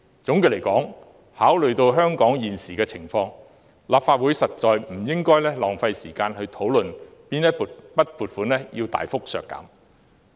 總的來說，考慮到香港現時的情況，立法會實在不應浪費時間討論大幅削減撥款。